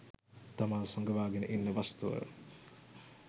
තමා සඟවාගෙන ඉන්න වස්තුව